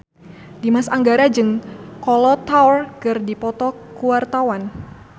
Dimas Anggara jeung Kolo Taure keur dipoto ku wartawan